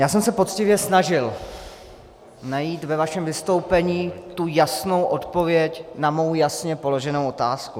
Já jsem se poctivě snažil najít ve vašem vystoupení tu jasnou odpověď na mou jasně položenou otázku.